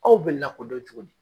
Aw bɛ lakodɔn cogo di.